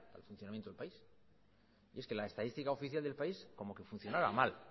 para el funcionamiento del país y es que la estadística oficial del país como que funcionara mal